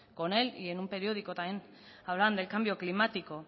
con él y en un periódico también hablan del cambio climático